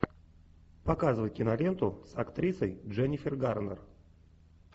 показывай киноленту с актрисой дженнифер гарнер